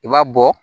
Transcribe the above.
I b'a bɔ